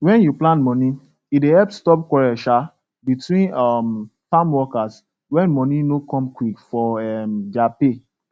wen u plan moni e dey help stop quarrel um between um farm workers when money no come quick for um their pay